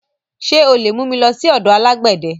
Ṣé o lè mú mi lọ sọ́dọ̀ alágbẹ̀dẹ?